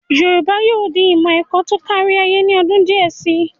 Yorùbá yóò di ìmọ̀ ẹ̀kọ́ tó kárí ayé ní ọdún díẹ̀ si.